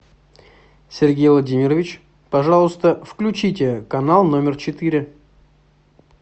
сергей владимирович пожалуйста включите канал номер четыре